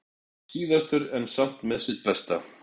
Síðastur en samt með sitt besta